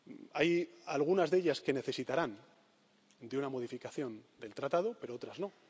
Hay algunas de ellas que necesitarán de una modificación del Tratado, pero otras